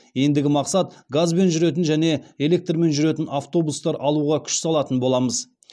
ендігі мақсат газбен жүретін және электрмен жүретін автобустар алуға күш салатын боламыз